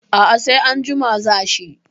A a sai anjima za shi.